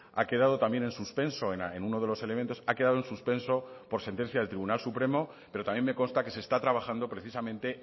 ha quedado también en suspenso en uno de los elementos ha quedado en suspenso por sentencia del tribunal supremo pero también me consta que se está trabajando precisamente